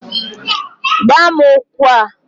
Gbaa m ugbu a!